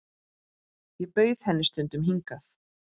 Ég bauð henni stundum hingað.